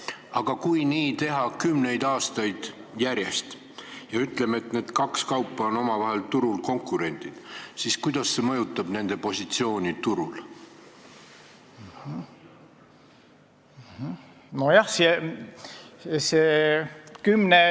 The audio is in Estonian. Aga kui nii teha kümneid aastaid järjest ja need kaks kaupa on omavahel turul konkurendid, siis kuidas see mõjutab nende positsiooni turul?